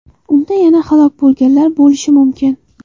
Unda yana halok bo‘lganlar bo‘lishi mumkin.